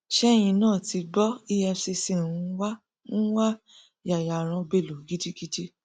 ṣẹyìn náà tí gbọ efcc ń wá ń wá yayaran bello gidigidi